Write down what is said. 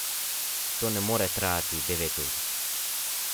To ne more trajati devet ur.